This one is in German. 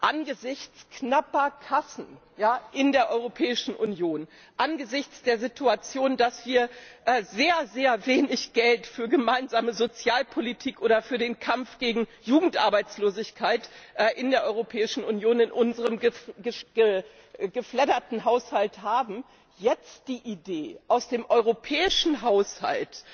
Angesichts knapper Kassen in der Europäischen Union, angesichts der Situation, dass wir sehr, sehr wenig Geld für gemeinsame Sozialpolitik oder für den Kampf gegen Jugendarbeitslosigkeit in der Europäischen Union in unserem gefledderten Haushalt haben, jetzt die Idee, aus dem europäischen Haushalt